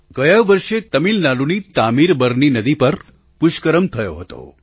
ગયા વર્ષે તમિલનાડુની તામીર બરની નદી પર પુષ્કરમ થયો હતો